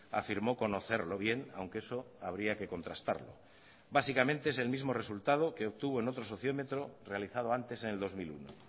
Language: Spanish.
afirmó conocerlo bien aunque eso habría que contrastarlo básicamente es el mismo resultado que obtuvo en otro sociómetro realizado antes en el dos mil uno